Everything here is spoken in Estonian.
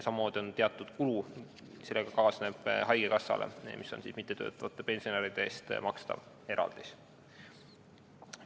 Samamoodi on teatud kulu, mis sellega kaasneb, haigekassale mittetöötavate vanaduspensionäride eest makstav eraldis.